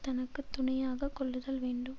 தனக்கு துணையாக கொள்ளுதல் வேண்டும்